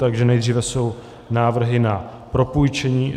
Takže nejdříve jsou návrhy na propůjčení